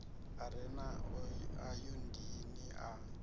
u re na ayodini a